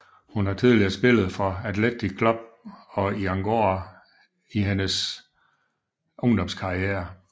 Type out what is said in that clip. Hun har tidligere spillet for Athletic Club og i Añorga i hendes ungdomskarriere